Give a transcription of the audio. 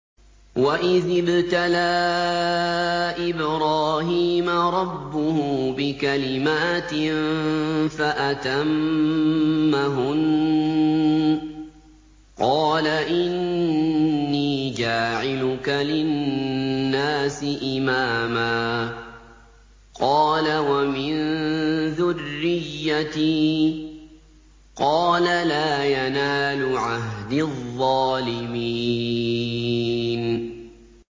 ۞ وَإِذِ ابْتَلَىٰ إِبْرَاهِيمَ رَبُّهُ بِكَلِمَاتٍ فَأَتَمَّهُنَّ ۖ قَالَ إِنِّي جَاعِلُكَ لِلنَّاسِ إِمَامًا ۖ قَالَ وَمِن ذُرِّيَّتِي ۖ قَالَ لَا يَنَالُ عَهْدِي الظَّالِمِينَ